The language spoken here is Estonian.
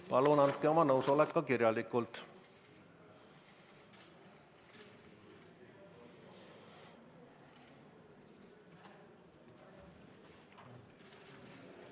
Palun andke oma nõusolek ka kirjalikult.